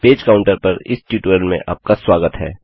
page counter पर इस tutorial में आपका स्वागत है